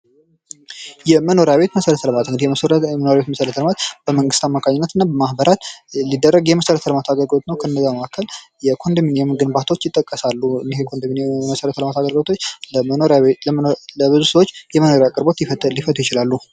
የመኖሪያ ቤት መሠረተ ልማት እንግዲህ የመኖሪያ ቤት መሰረተ ልማት በመንግስት አማካኝነትና ማበራት ሊደረግ የመሰረተ ልማት አገልግሎት ነው :: ከነዚያ መካከል የኮንዶሚንየም ግንባታዎች ይጠቀሳሉ :: እነዚህ የኮንዶሚኒየም መሰረተ ልማት አገልግሎቶች ለብዙ ሰዎች የመኖሪያ ቤት አቅርቦት ሊፈቱ ይችላሉ ::